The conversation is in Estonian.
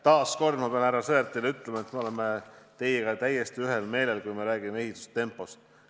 Taas kord pean ma härra Sõerdile ütlema, et me oleme teiega täiesti ühel meelel, kui räägime ehitustempost.